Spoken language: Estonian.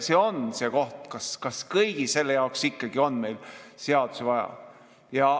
See on see koht, et kas kõige selle jaoks on meil ikkagi seadusi vaja.